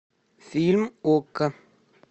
фильм окко